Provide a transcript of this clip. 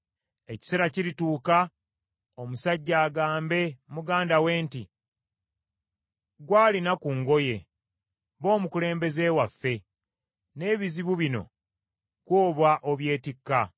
Ekiseera kirituuka omusajja agambe muganda we nti, “Ggwe alina ku ngoye ba omukulembeze waffe, n’ebizibu bino ggwe oba obyetikka!”